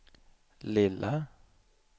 lilla